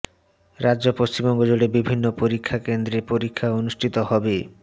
রাজ্য পশ্চিমবঙ্গ জুড়ে বিভিন্ন পরীক্ষা কেন্দ্রে পরীক্ষা অনুষ্ঠিত হবে